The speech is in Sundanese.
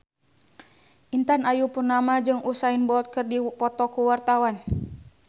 Intan Ayu Purnama jeung Usain Bolt keur dipoto ku wartawan